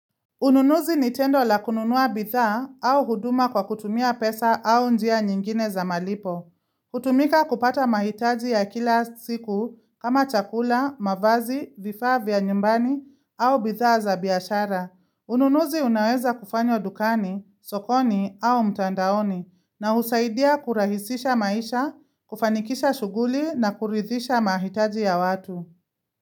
Ununuzi nitendo la kununua bidhaa au huduma kwa kutumia pesa au njia nyingine za malipo. Hutumika kupata mahitaji ya kila siku kama chakula, mavazi, vifaa vya nyumbani au bidhaa za biashara. Ununuzi unaweza kufanywa dukani, sokoni au mtandaoni na husaidia kurahisisha maisha, kufanikisha shughuli na kuridhisha mahitaji ya watu.